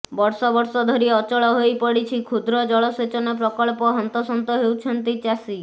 ବର୍ଷ ବର୍ଷ ଧରି ଅଚଳ ହୋଇପଡ଼ିଛି କ୍ଷୁଦ୍ର ଜଳସେଚନ ପ୍ରକଳ୍ପ ହନ୍ତସନ୍ତ ହେଉଛନ୍ତି ଚାଷୀ